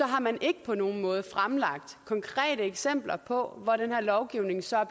har man ikke på nogen måde fremlagt konkrete eksempler på hvor den her lovgivning så er